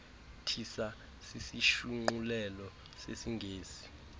tissa sisishunqulelo sesingesi